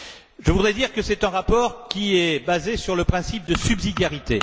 Je voudrais dire que c'est un rapport qui est basé sur le principe de subsidiarité.